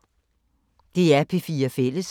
DR P4 Fælles